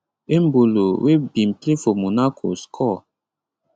embolo wey bin play for monaco score